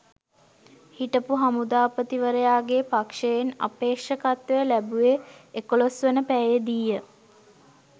හිටපු හමුදාපතිවරයාගේ පක්ෂයෙන් අපේක්ෂකත්වය ලැබුවේ එකොළොස්වන පැයේ දීය